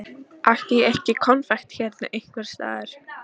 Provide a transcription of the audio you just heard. Átti ég ekki konfekt hérna einhvers staðar.